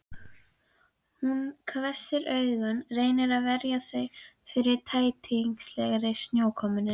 Hún hvessir augun, reynir að verja þau fyrir tætingslegri snjókomunni.